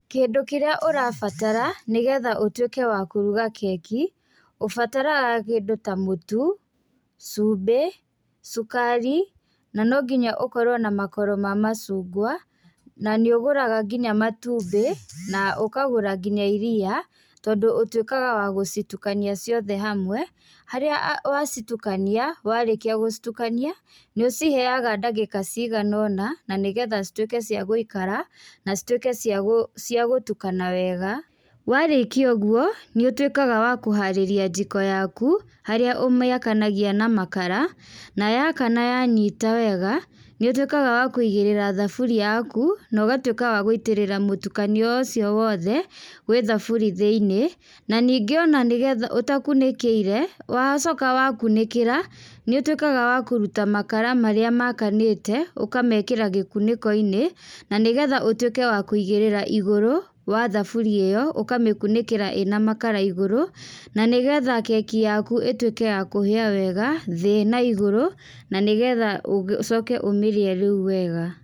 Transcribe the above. Kĩndũ kĩrĩa ũrabatara, nĩgetha ũtuĩke wa kũruga keki, ũbataraga kĩndũ ta mũtu, cumbi, cukari, na nonginya ũkorwo na makoro ma macungwa, na nĩ ũgũraga nginya matumbĩ, na ũkagũra nginya iria, tondũ ũtuĩkaga wa gũcitukania ciothe hamwe, harĩa wacitukania, warĩkia gũcitukania, nĩ ũciheaga ndagĩka ciganona, na nĩgetha cituĩke cia gũikara, na cituĩke cia gũ cia gũtukana wega, warĩkia ũguo, nĩũtuĩkaga wa kũharĩrĩa jiko yaku, harĩa ũmĩakanagia na makara, na yakana yanyita wega, nĩũtuĩkaga wa kũigĩrĩra thaburia yaku, na ũgatuĩka wa gũitĩrĩra mũtukanio ũcio wothe, gwĩ thaburi thĩinĩ, na ningĩ ona nĩgetha ũtakunĩkĩire, wacoka wakunĩkĩra nĩũtuĩkaga wa kũruta makara marĩa makanĩte, ũkamekĩra gĩkunĩkoinĩ, na nĩgetha ũtuĩke wa kũigĩrĩra igũrũ, wa thuburia ĩyo, ũkamĩkunĩkĩra ĩna makara igũrũ, na nĩgetha keki yaku ĩtuĩke ya kũhĩa wega, thĩ na igũrũ, na nĩgetha ũga ũcoke ũmĩrĩe rĩũ wega.